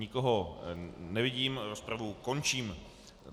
Nikoho nevidím, rozpravu končím.